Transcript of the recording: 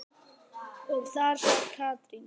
Og þar sat Katrín.